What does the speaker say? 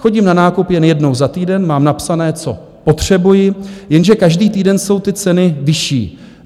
Chodím na nákup jen jednou za týden, mám napsané, co potřebuji, jenže každý týden jsou ty ceny vyšší.